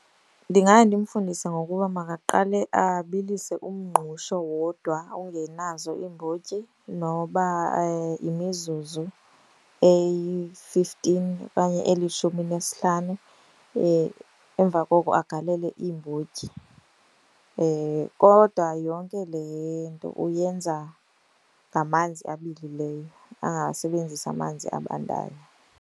Ndingaya ndimfundise ngokuba makaqale abilise umngqusho wodwa ungenazo iimbotyi noba yimizuzu eyi-fifteen okanye elishumi nesihlanu. Emva koko agalele iimbotyi. Kodwa yonke le nto uyenza ngamanzi abilileyo, angawasebenzisi amanzi abandayo.